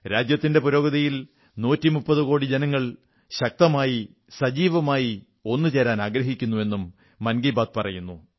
രാജ്യത്തിന്റെ പുരോഗതിയിൽ 130 കോടി ജനങ്ങൾ ശക്തമായി സജീവമായി ഒന്നുചേരാനാഗ്രഹിക്കുന്നു എന്നും മൻ കീ ബാത്ത് പറയുന്നു